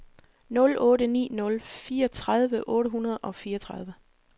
nul otte ni nul fireogtredive otte hundrede og fireogtredive